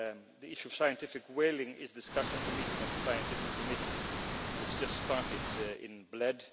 The issue of scientific whaling is discussed at the meeting of the Scientific Committee, which just started in Bled.